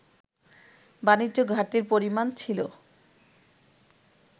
বাণিজ্য ঘাটতির পরিমাণ ছিল